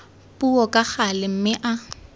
puo ka gale mme a